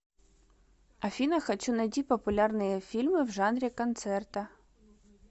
афина хочу найти популярные фильмы в жанре концерта